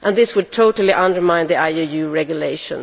This would totally undermine the IUU Regulation.